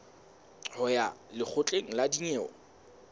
ho ya lekgotleng la dinyewe